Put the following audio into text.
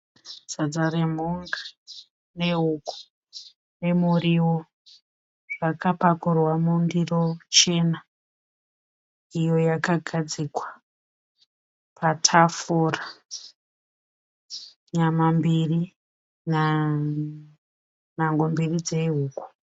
Sadza remhunga nehuku nemuriwo zvakapakurwa mundiro chena iyo yakagadzikwa patafura. Nyama mbiri nhango mbiri dzehuku.